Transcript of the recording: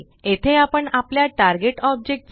येथे आपण आपल्या टार्गेट ऑब्जेक्ट